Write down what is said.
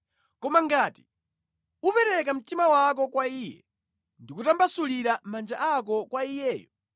“Koma ngati upereka mtima wako kwa Iye ndi kutambasulira manja ako kwa Iyeyo,